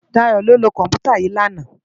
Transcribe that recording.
Dayo ló lö kòmpútá yi làná